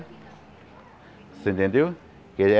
Você entendeu? Que ele é